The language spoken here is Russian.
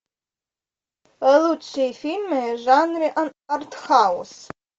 лучшие фильмы в жанре артхаус